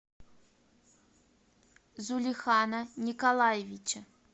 зулихана николаевича